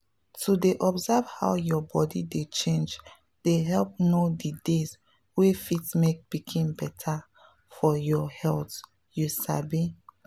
to dey observe how your body dey change dey help know the days wey fit make pikin better for your health you sabi?